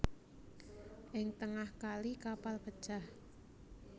Ing tengah kali kapal pecah